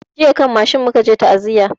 A kan mashin jiya muka tafi ta'aziyan.